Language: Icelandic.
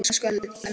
Elsku Elli minn.